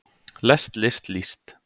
lest list líst